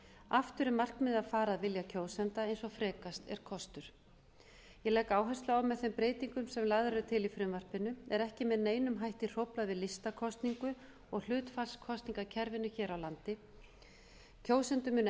aftur er markmiðið að fara að vilja kjósenda eins og frekast er kostur ég legg áherslu á að með þeim breytingum sem lagðar eru til í frumvarpinu er ekki með neinum hætti hróflað við listakosningu og hlutfallskosningakerfinu hér á landi kjósendur munu